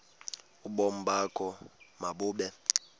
ubomi bakho mabube